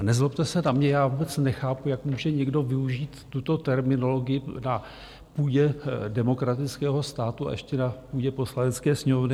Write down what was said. A nezlobte se na mě, já vůbec nechápu, jak může někdo využít tuto terminologii na půdě demokratického státu, a ještě na půdě Poslanecké sněmovny.